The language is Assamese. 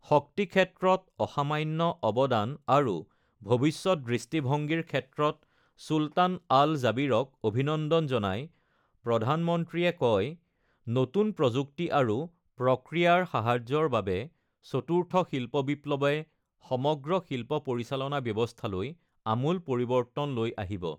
শক্তি ক্ষেত্ৰত অসামান্য অৱদান আৰু ভৱিষ্যৎ দৃষ্টিভঙ্গীৰ ক্ষেত্ৰত ড.চুলতান আল জাবিৰক অভিনন্দন জনাই প্ৰধানমন্ত্ৰীয়ে কয়, নতুন প্ৰযুক্তি আৰু প্ৰক্ৰিয়াৰ সাহায্যৰ বাবে চতুৰ্থ শিল্প বিপ্লৱে সমগ্ৰ শিল্প পৰিচালনা ব্যৱস্থালৈ আমূল পৰিৱৰ্তন লৈ আহিব।